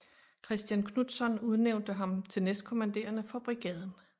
Kristian Knudtzon udnævnte ham til næstkommanderende for Brigaden